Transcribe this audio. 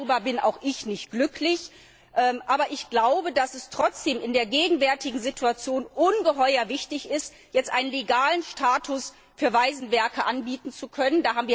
Darüber bin auch ich nicht glücklich, aber ich glaube, dass es trotzdem in der gegenwärtigen Situation ungeheuer wichtig ist, jetzt einen legalen Status für verwaisten Werke anbieten zu können.